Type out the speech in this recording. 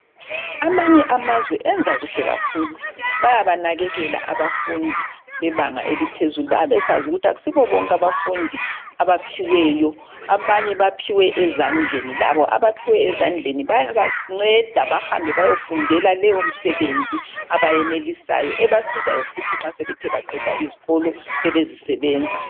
Amanye amazwe enza kuhle kakhulu. Bayabanakekela abafundi bebanga eliphezulu. Bayabe besazi ukuthi akusibo bonke abafundi abaphiweyo, abanye baphiwe ezandleni. Labo abaphiwe ezandleni bayabanceda bahambe bayofundela leyomsebenzi abayenelisayo , ebasizayo futhi nxa sebethe baqeda izikolo, sebezisebenza.